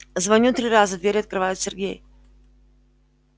звоню три раза дверь открывает сергей